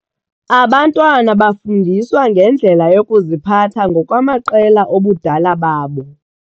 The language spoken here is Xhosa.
Abantwana bafundiswa ngendlela yokuziphatha ngokwamaqela obudala babo.